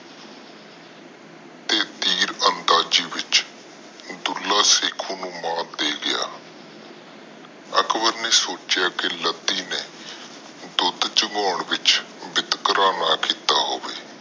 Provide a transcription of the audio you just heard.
ਤੀਰਅੰਦਾਜ਼ੀ ਵਿਚ ਦੁੱਲਾ ਸੇਖੁ ਨੂੰ ਮਾਤ ਦੇ ਗਿਆ। ਅਕਬਰ ਨੇ ਸੋਚਿਆ ਕਿ ਲੱਦੀ ਨੇ ਦੁੱਧ ਚੁੰਗਾਂ ਚ ਬਿਤਕਰਾ ਨਾ ਕੀਤਾ ਹੋਵੇ